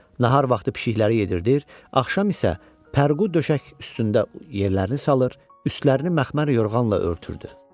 Nahar vaxtı pişikləri yeyirdir, axşam isə pərqu döşək üstündə yerlərini salır, üstlərini məxmər yorğanla örtürdü.